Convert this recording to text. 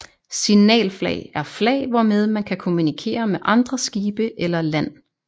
Signalflag er flag hvormed man kan kommunikere med andre skibe eller land